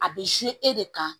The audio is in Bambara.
A bɛ e de kan